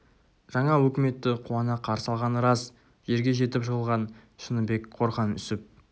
жаңа өкіметті қуана қарсы алғаны рас жерге жетіп жығылған шыныбек қорған үсіп